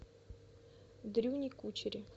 дрюне кучере